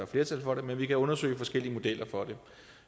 flertal for det men vi kan undersøge forskellige modeller for det